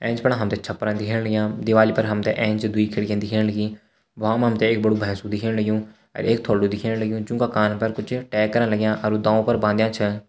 एैंच फणा हमथे छप्परन दिखण लग्यां दीवाली फर हमते एैंच द्वि खिड़कियन दिखेण लगीं वामा हमथे एक बडू भैसु देखण लग्युं अर एक थोल्दु दिखेण लग्युं जूँका कान पर कुछ टैग करन लग्यां अर वू दौउ पर बांध्या छ।